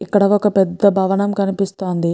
ఇక్కడ ఒక పెద్ద భవనం కనిపిస్తోంది.